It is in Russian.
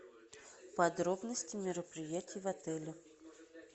подробности мероприятий в отеле